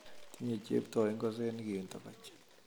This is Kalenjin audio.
Tinye chepto ingosenik eng tokoch